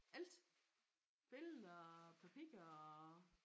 Alt billeder og papirer og